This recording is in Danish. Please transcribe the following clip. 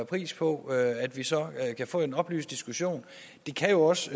pris på at at vi så kan få en oplyst diskussion det kan jo også